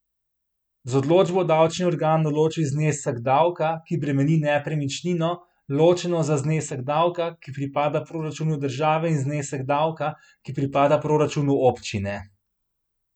Z odločbo davčni organ določi znesek davka, ki bremeni nepremičnino, ločeno za znesek davka, ki pripada proračunu države in znesek davka, ki pripada proračunu občine.